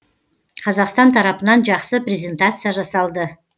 қазақстан тарапынан жақсы презентация жасалды